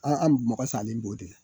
A al'u mɔgɔ salen b'o de la.